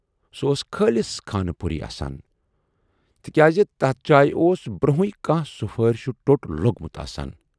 سُہ اوس خٲلِص خانہٕ پُری آسان، تِکیازِ تتھ جایہِ اوس برونہےٕ کانہہ سُفٲرِشہِ ٹوٹ لوگمُت آسان۔